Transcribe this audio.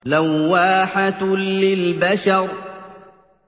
لَوَّاحَةٌ لِّلْبَشَرِ